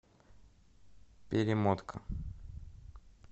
перемотка